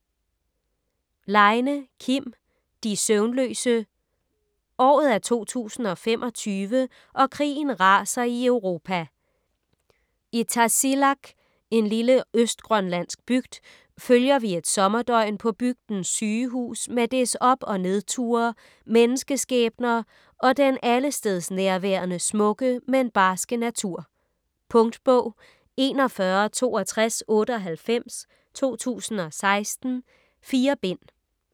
Leine, Kim: De søvnløse Året er 2025 og krigen raser i Europa. I Tasiilaq - en lille østgrønlandsk bygd - følger vi et sommerdøgn på bygdens sygehus med dets op- og nedture, menneskeskæbner og den allestedsnærværende smukke, men barske natur. Punktbog 416298 2016. 4 bind.